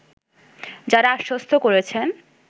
তারা আশ্বস্ত করেছেন